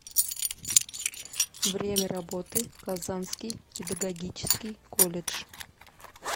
время работы казанский педагогический колледж